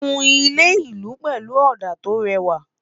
kún ilé ìlú pẹlú òdà to réwà